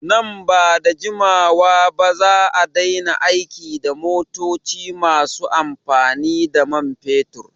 Nan bada jimawa ba za'a daina aiki da motoci masu amfani da man fetur